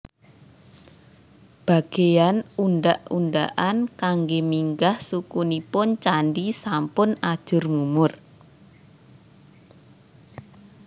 Bagéyan undhak undhakan kanggé minggah suku nipun candhi sampun ajur mumur